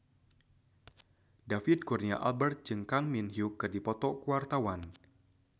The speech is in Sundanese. David Kurnia Albert jeung Kang Min Hyuk keur dipoto ku wartawan